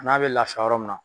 N'a bɛ laafiya yɔrɔ min na.